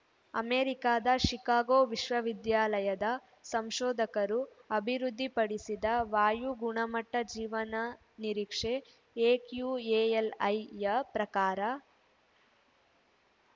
ಅಮೆರಿಕದ ಷಿಕಾಗೋ ವಿಶ್ವವಿದ್ಯಾಲಯದ ಸಂಶೋಧಕರು ಅಭಿವೃದ್ಧಿ ಪಡಿಸಿದ ವಾಯು ಗುಣಮಟ್ಟಜೀವನ ನಿರೀಕ್ಷೆ ಎಕ್ಯೂಎಲ್‌ಐಯ ಪ್ರಕಾರ